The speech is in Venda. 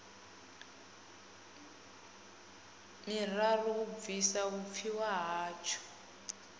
miraru u bvisa vhupfiwa hatsho